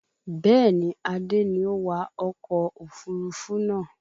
Bẹ́ẹ̀ni, Adé ni ó wa ọkọ̀ òfurufú náà